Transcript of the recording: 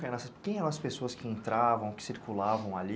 Quem eram as pessoas que entravam, que circulavam ali?